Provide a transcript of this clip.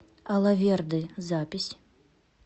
алаверды запись